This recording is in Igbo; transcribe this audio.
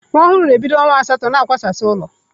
Nwa ọhụrụ bido ọnwa asatọ na-akwasa ụlọ.